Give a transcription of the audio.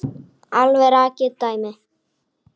Alveg rakið dæmi.